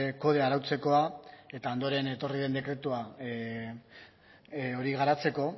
kodea arautzekoa eta ondoren etorri den dekretua hori garatzeko